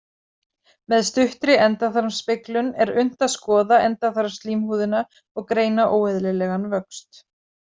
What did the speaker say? Með stuttri endaþarmsspeglun er unnt að skoða endaþarmsslímhúðina og greina óeðlilegan vöxt.